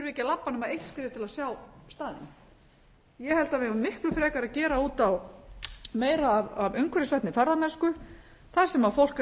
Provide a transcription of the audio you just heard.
ekki að labba nema eitt skref til að sjá staðinn ég held að við eigum miklu frekar að gera út á meira af umhverfisvænni ferðamennsku þar sem fólk er að